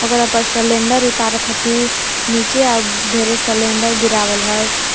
ओकरा पर सलेंडर उतारत हथि निचे आ उ ढेरे सलेंडर गिरावल हय।